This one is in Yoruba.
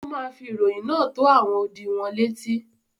ó ma fi ìròyìn náà tó “ àwọn odi ” wọn létí.